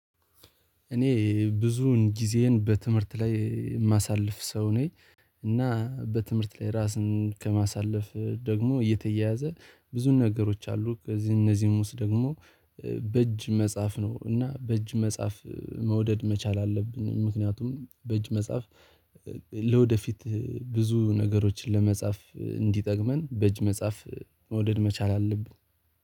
እኔ ብዙን ጊዜዬን በትምህርት ላይ የማሳልፍ ሰው ነኝ። እና በትምህርት ላይ ራስን ከማሳለፍ ደግሞ እየተያያዘ ብዙ ነገሮች አሉ። ከዚህ እነዚህም ውስጥ ደግሞ በእጅ መጽሐፍ ነው እና በእጅ መጽሐፍ መውደድ መቻል አለብን። ምክንያቱም በእጅ መጽሐፍ ለወደፊት ብዙ ነገሮችን ለመጽሐፍ እንዲጠቅመን በእጅ መጽሐፍ መውደድ መቻል አለብን።